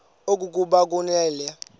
okokuba ukungathobeli le